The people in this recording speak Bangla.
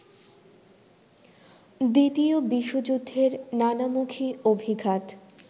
দ্বিতীয় বিশ্বযুদ্ধের নানামুখি অভিঘাত